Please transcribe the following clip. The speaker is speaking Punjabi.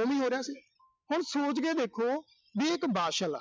ਓਵੀਂ ਹੋ ਰਿਹਾ ਸੀ। ਹੁਣ ਸੋਚ ਕੇ ਦੇਖੋ ਵੀ ਇਹ ਇੱਕ ਵਾਸ਼ਲ ਆ।